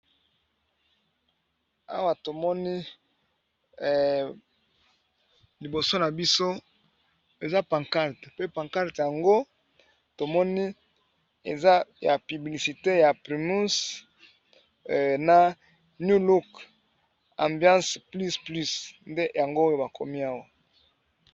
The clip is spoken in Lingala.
Awa tomoni libido nabiso eaa pagarte bakomi new look